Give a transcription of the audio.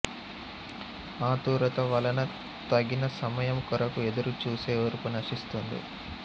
ఆతురత వలన తగిన సమయం కొరకు ఎదురు చూసే ఓర్పు నశిస్తుంది